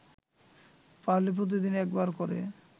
পারলে প্রতিদিনই একবার করে